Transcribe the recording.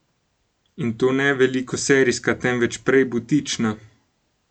In to ne velikoserijska, temveč prej butična.